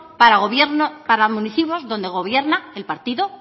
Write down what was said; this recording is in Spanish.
para municipios donde gobierno el partido